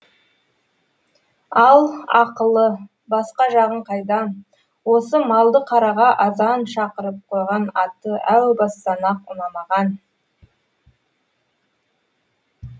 ал ақылы басқа жағын қайдам осы малдықараға азан шақырып қойған аты әу бастан ақ ұнамаған